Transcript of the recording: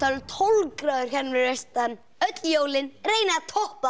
tólf gráður hérna fyrir austan öll jólin reynið að toppa